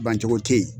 Bancogo tɛ yen